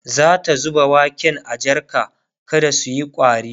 zata zuba waken a jarka kada suyi ƙwari